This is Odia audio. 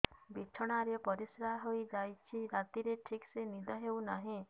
ବିଛଣା ରେ ପରିଶ୍ରା ହେଇ ଯାଉଛି ରାତିରେ ଠିକ ସେ ନିଦ ହେଉନାହିଁ